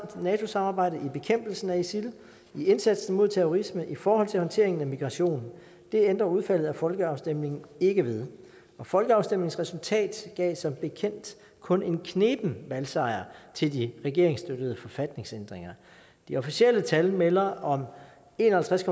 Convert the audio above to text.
nato samarbejdet i bekæmpelsen af isil i indsatsen mod terrorisme i forhold til håndteringen af migration og det ændrer udfaldet af folkeafstemningen ikke ved og folkeafstemningens resultat gav som bekendt kun en kneben valgsejr til de regeringsstøttede forfatningsændringer de officielle tal melder om en og halvtreds